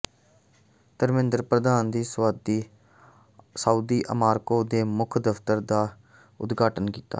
ਧਰਮੇਂਦਰ ਪ੍ਰਧਾਨ ਨੇ ਸਾਊਦੀ ਆਮਰਕੋ ਦੇ ਮੁੱਖ ਦਫ਼ਤਰ ਦਾ ਉਦਘਾਟਨ ਕੀਤਾ